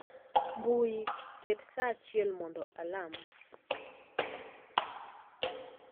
mbui, ket sa achiel mondo alam.